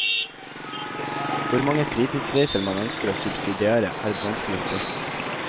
Hvor mange fritidsreiser man ønsker å subsidiere, er et vanskelig spørsmål.